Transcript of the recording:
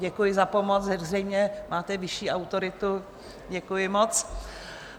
Děkuji za pomoc, zřejmě máte vyšší autoritu, děkuji moc.